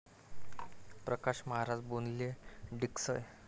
Prakash Maharaj Bodhle, Diksal